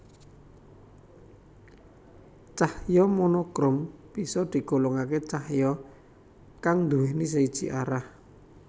Cahya monokrom bisa digolongake cahya kang nduwèni siji arah